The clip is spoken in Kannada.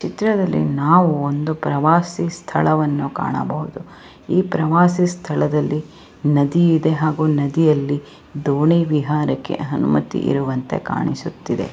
ಈ ಚಿತ್ರದಲ್ಲಿ ನಾವು ಒಂದು ಪ್ರವಾಸಿ ಸ್ಥಳವನ್ನು ಕಾಣಬಹುದು ಈ ಪ್ರವಾಸ ಸ್ಥಳದಲ್ಲಿ ನದಿ ಇದೆ ಹಾಗೂ ನದಿಯಲ್ಲಿ ದೋಣಿ ವಿಹಾರಕ್ಕೆ ಅನುಮತಿ ಇರುವಂತೆ ಕಾಣಿಸುತ್ತಿದೆ.